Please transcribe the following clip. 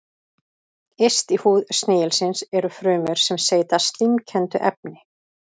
Yst í húð snigilsins eru frumur sem seyta slímkenndu efni.